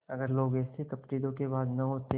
अगर लोग ऐसे कपटीधोखेबाज न होते